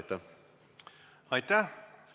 Aitäh!